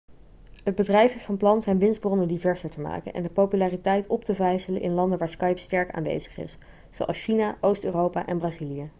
het bedrijf is van plan zijn winstbronnen diverser te maken en de populariteit op te vijzelen in landen waar skype sterk aanwezig is zoals china oost-europa en brazilië